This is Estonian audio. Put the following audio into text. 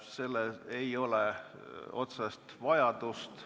Selleks ei ole otsest vajadust.